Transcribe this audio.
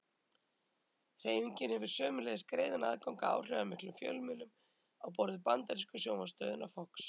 Hreyfingin hefur sömuleiðis greiðan aðgang að áhrifamiklum fjölmiðlum á borð við bandarísku sjónvarpsstöðina Fox.